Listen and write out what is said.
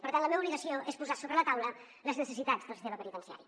per tant la meva obligació és posar sobre la taula les necessitats del sistema penitenciari